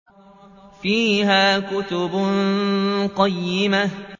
فِيهَا كُتُبٌ قَيِّمَةٌ